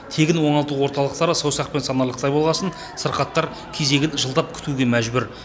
тегін оңалту орталықтары саусақпен санарлықтай болғасын сырқаттар кезегін жылдап күтуге мәжбүр